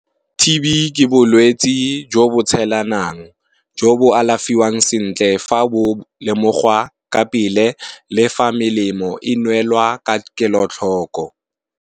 T_B ke bolwetsi jo bo tshelanang jo bo alafiwang sentle fa bo lemogwa ka pele, le fa melemo e nwelwa ka kelotlhoko.